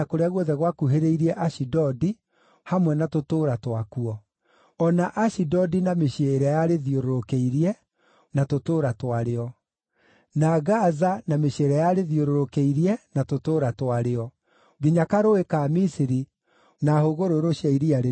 o na Ashidodi na mĩciĩ ĩrĩa yarĩthiũrũrũkĩirie, na tũtũũra twarĩo; na Gaza na mĩciĩ ĩrĩa yarĩthiũrũrũkĩirie, na tũtũũra twa rĩo, nginya karũũĩ ka bũrũri wa Misiri, na hũgũrũrũ cia Iria rĩrĩa Inene.